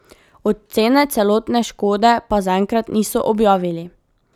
Ocene celotne škode pa zaenkrat niso objavili.